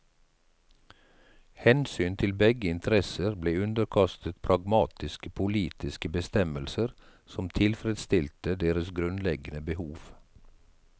Hensyn til begge interesser ble underkastet pragmatiske politiske bestemmelser som tilfredstilte deres grunnleggende behov.